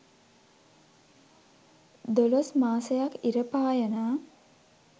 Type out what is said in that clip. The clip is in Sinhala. දොළොස් මාසයක් ඉර පායනා